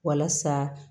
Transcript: Walasa